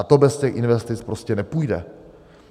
A to bez těch investic prostě nepůjde.